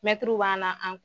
Mɛtiriw b'an na